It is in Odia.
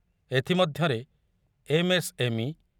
ଏଥିମଧ୍ୟରେ ଏମ୍ ଏସ୍ ଏମ୍ ଇ